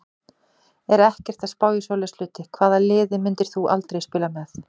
Er ekkert að spá í svoleiðis hluti Hvaða liði myndir þú aldrei spila með?